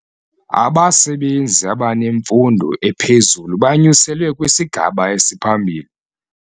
Abasebenzi abanemfundo ephezulu banyuselwe kwisigaba esiphambili.